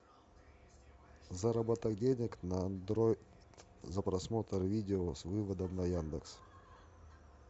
заработок денег на андроид за просмотр видео с выводом на яндекс